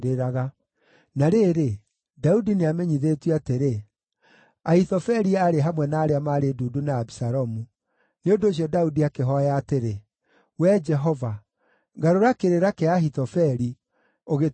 Na rĩrĩ, Daudi nĩamenyithĩtio atĩrĩ, “Ahithofeli aarĩ hamwe na arĩa maarĩ ndundu na Abisalomu.” Nĩ ũndũ ũcio Daudi akĩhooya atĩrĩ, “Wee Jehova, garũra kĩrĩra kĩa Ahithofeli, ũgĩtue ũrimũ.”